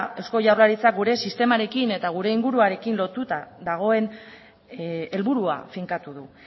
eusko jaurlaritzak gure sistemarekin eta gure inguruarekin lotuta dagoen helburua finkatu du